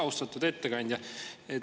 Austatud ettekandja!